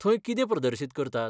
थंय कितें प्रदर्शीत करतात?